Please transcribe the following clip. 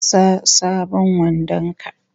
Sa sabon wandon ka!